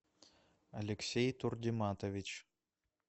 алексей турдиматович